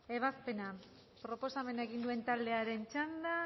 ebazpena proposamena egin duen taldearen txanda